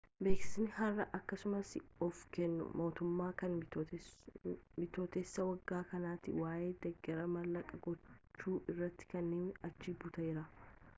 beeksisni har'a akkasumaas of kennu mootummaa kan bitooteessa waggaa kanati waa'ee deeggarsa mallaqa gochuu irratti kenname achi butera